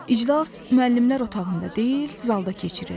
İclas müəllimlər otağında deyil, zalda keçirildi.